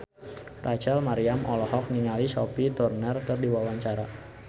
Rachel Maryam olohok ningali Sophie Turner keur diwawancara